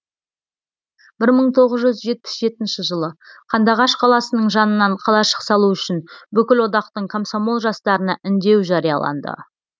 бір мың тоғыз жүз жетпіс жетінші жылы қандыағаш қаласының жанынан қалашық салу үшін бүкілодақтық комсомол жастарына үндеу жарияланды